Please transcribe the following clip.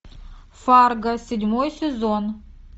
фарго седьмой сезон